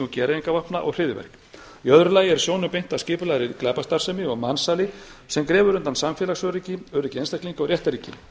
gereyðingarvopna og hryðjuverk í öðru lagi er sjónum beint að skipulegri glæpastarfsemi og mansali sem grefur undan samfélagsöryggi einstaklinga og réttarríki